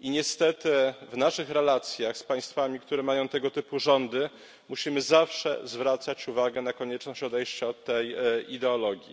i niestety w naszych relacjach z państwami, które mają tego typu rządy, musimy zawsze zwracać uwagę na konieczność odejścia od tej ideologii.